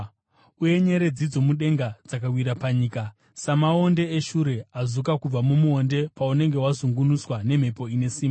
uye nyeredzi dzomudenga dzakawira panyika, samaonde eshure azuka kubva mumuonde paunenge wazungunuswa nemhepo ine simba.